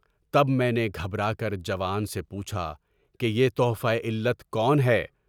تب میں نے گھبرا کر جوان سے پوچھا کہ یہ تحفہ علت کون ہے؟